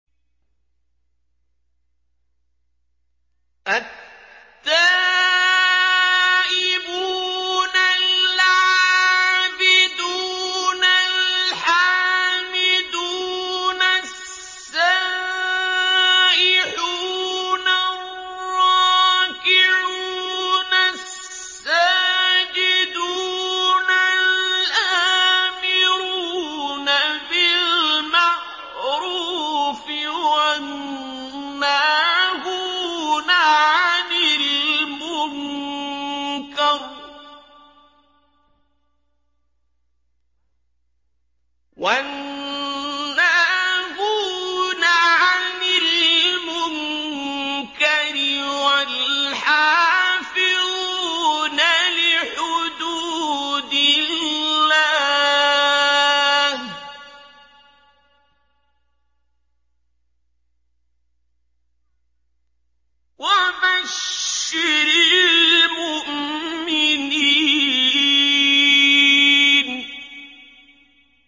التَّائِبُونَ الْعَابِدُونَ الْحَامِدُونَ السَّائِحُونَ الرَّاكِعُونَ السَّاجِدُونَ الْآمِرُونَ بِالْمَعْرُوفِ وَالنَّاهُونَ عَنِ الْمُنكَرِ وَالْحَافِظُونَ لِحُدُودِ اللَّهِ ۗ وَبَشِّرِ الْمُؤْمِنِينَ